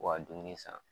U ka dumuni san